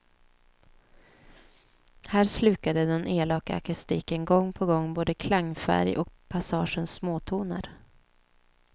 Här slukade den elaka akustiken gång på gång både klangfärg och passagers småtoner.